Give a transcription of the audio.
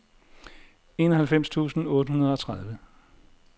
enoghalvfems tusind otte hundrede og tredive